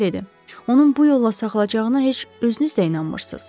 Onun bu yolla sağalacağına heç özünüz də inanmırsınız.